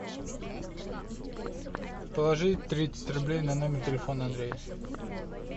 положи тридцать рублей на номер телефона андрея